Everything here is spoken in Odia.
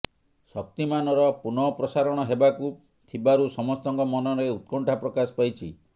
ଶକ୍ତିମାନର ପୁନଃ ପ୍ରସାରଣ ହେବାକୁ ଥିବାରୁ ସମସ୍ତଙ୍କ ମନରେ ଉତ୍କଣ୍ଠା ପ୍ରକାଶ ପାଇଛି